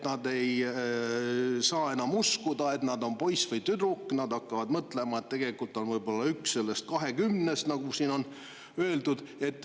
Nad ei saa enam uskuda, et nad on poiss või tüdruk, vaid nad hakkavad mõtlema, et nad on võib-olla üks nendest 20, nagu siin on öeldud.